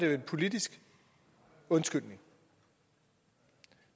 var en politisk undskyldning